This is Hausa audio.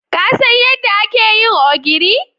Ka San yadda ake yin ogiri?